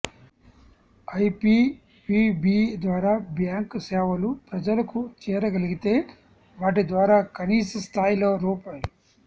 IPPB ద్వారా bank సేవలు ప్రజలకు చేరగలిగితే వాటి ద్వారా కనీస స్థాయిలో రూ